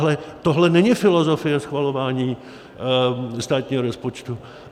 Ale tohle není filozofie schvalování státního rozpočtu.